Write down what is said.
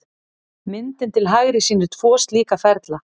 Myndin til hægri sýnir tvo slíka ferla.